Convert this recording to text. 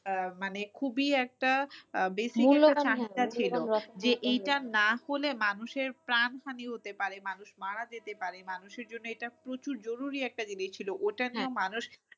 আহ মানে খুবই একটা আহ যে এটা না হলে মানুষের প্রাণ হানি হতে পারে মানুষ মারা যেতে পারে। মানুষের জন্য প্রচুর জরুরি একটা জিনিস ছিল। ওটা